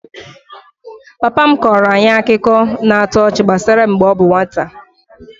Papa m kọọrọ anyị akụkọ na-atọ ọchị gbasara mgbe ọ bụ nwata